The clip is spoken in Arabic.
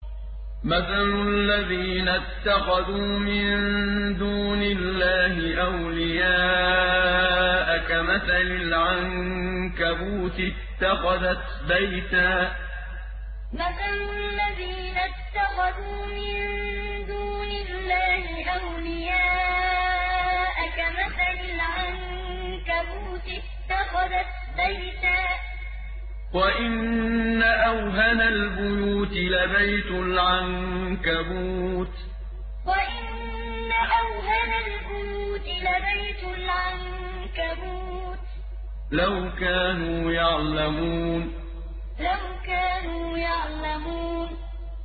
مَثَلُ الَّذِينَ اتَّخَذُوا مِن دُونِ اللَّهِ أَوْلِيَاءَ كَمَثَلِ الْعَنكَبُوتِ اتَّخَذَتْ بَيْتًا ۖ وَإِنَّ أَوْهَنَ الْبُيُوتِ لَبَيْتُ الْعَنكَبُوتِ ۖ لَوْ كَانُوا يَعْلَمُونَ مَثَلُ الَّذِينَ اتَّخَذُوا مِن دُونِ اللَّهِ أَوْلِيَاءَ كَمَثَلِ الْعَنكَبُوتِ اتَّخَذَتْ بَيْتًا ۖ وَإِنَّ أَوْهَنَ الْبُيُوتِ لَبَيْتُ الْعَنكَبُوتِ ۖ لَوْ كَانُوا يَعْلَمُونَ